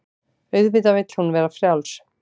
Auðvitað vill hún vera frjáls.